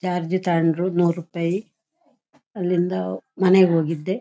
Charge ತಕೊಂಡ್ರು ಮೂರು ರೂಪಾಯಿ ಅಲ್ಲಿಂದಾ ಮನೆಗೆ ಹೋಗಿದ್ದೆ.